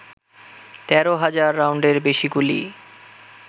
১৩ হাজার রাউন্ডের বেশি গুলি